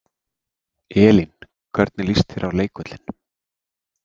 Elín: Hvernig líst þér á leikvöllinn?